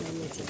Qoy qoy qoy.